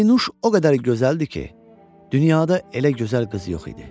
Pərinüş o qədər gözəldir ki, dünyada elə gözəl qız yox idi.